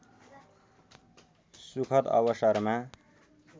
सुखद अवसरमा